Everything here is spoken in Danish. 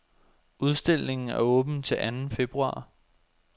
Udstillingen er åben til anden februar.